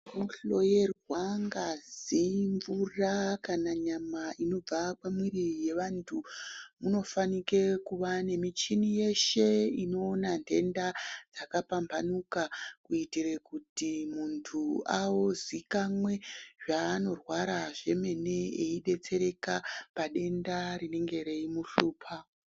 Kunohloyerwa ngazi mvura kana nyama inobva pamwiiri yevantu, munofanike kuva nemichini yeshe inoona ntenda yakapamphanuka, kuitire kuti muntu auzikanwe zvaanorwara zvemene, eidetsereka padenda rinenge reimuhlupha.